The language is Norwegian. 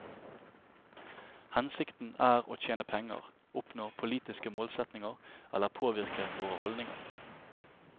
Hensikten er å tjene penger, oppnå politiske målsetninger eller påvirke våre holdninger.